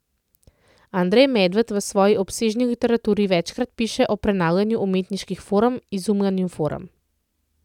Andrej Medved v svoji obsežni literaturi večkrat piše o prenavljanju umetniških form, izumljanju form.